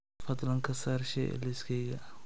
fadlan ka saar shay a liiskayga